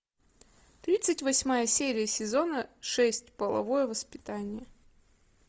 тридцать восьмая серия сезона шесть половое воспитание